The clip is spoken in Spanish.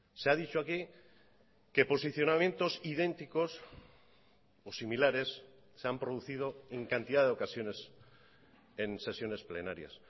se ha dicho aquí que posicionamientos idénticos o similares se han producido en cantidad de ocasiones en sesiones plenarias